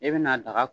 E bɛna daga